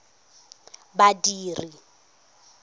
badiri